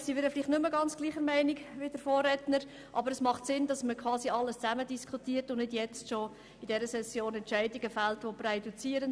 Materiell sind wir nicht ganz gleicher Meinung wie der Vorredner, aber es ist sinnvoll, alles zusammen zu diskutieren und nicht bereits jetzt in dieser Session präjudizierende Entscheidungen zu fällen.